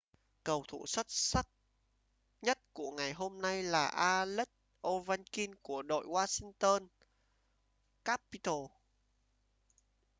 cầu thủ xuất sắc nhất của ngày hôm nay là alex ovechkin của đội washington capitals